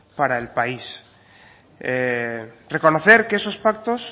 para el país reconocer que esos pactos